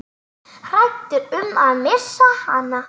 Hræddur um að missa hana.